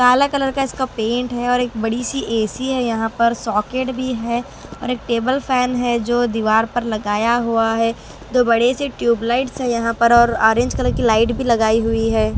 काला कलर का इसका पेंट है और एक बड़ी सी ए_सी है यहाँ पर सॉकेट भी है और एक टेबल फैन है जो दीवार पर लगाया हुआ है दो बड़े से ट्यूब लाइट्स है यहाँ पर और ऑरेंज कलर की लाइट भी लगाई हुई है।